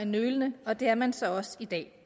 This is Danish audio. nølende og det er man så også i dag